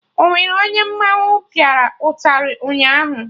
Onwere onye mmanwụ pịa ụtarị ụnyaahụ?